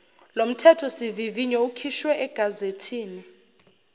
lomthethosivivinyo ukhishwe egazethini